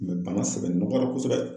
Nin bana sɛbɛ nɔgɔyara kosɛbɛ